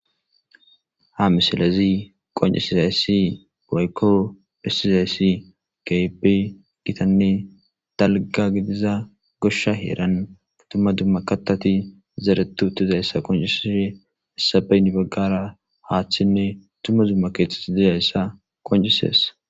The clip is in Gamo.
Ha misilezi qoncisizaysssi braykko hissizayssi keybe gitanne dalga gidiza goshsha heeran tumma duma katati zaretu utizayssa qoncisesh issabeynibaggara haachchinne tuma zumma keeththet dizayssa qoncisesa.